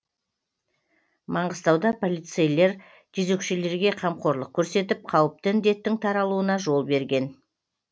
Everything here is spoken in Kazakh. маңғыстауда полицейер жезөкшелерге қамқорлық көрсетіп қауіпті індеттің таралуына жол берген